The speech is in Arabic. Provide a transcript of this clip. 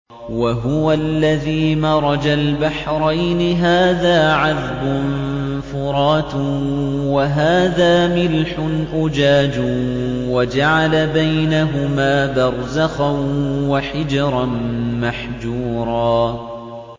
۞ وَهُوَ الَّذِي مَرَجَ الْبَحْرَيْنِ هَٰذَا عَذْبٌ فُرَاتٌ وَهَٰذَا مِلْحٌ أُجَاجٌ وَجَعَلَ بَيْنَهُمَا بَرْزَخًا وَحِجْرًا مَّحْجُورًا